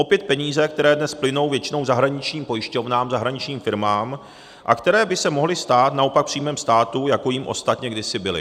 Opět peníze, které dnes plynou většinou zahraničním pojišťovnám, zahraničním firmám a které by se mohly stát naopak příjmem státu, jako jím ostatně kdysi byly.